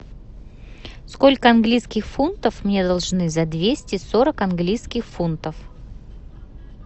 сколько английских фунтов мне должны за двести сорок английских фунтов